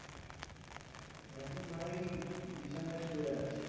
এখন ভাই বিছানায় শুয়ে আছি